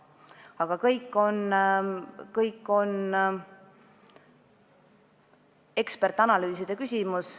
Aga kõik on eksperdianalüüside küsimus.